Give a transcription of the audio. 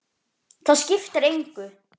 Það skiptir engu